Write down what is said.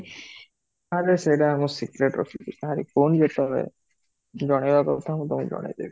ଆରେ ସେତ ମୁଁ secret ରଖିବି ନା, କହୁନ ଯେତବେଳେ ଜଣେଇବାର କଥା ମୁଁ ଜଣେଇବି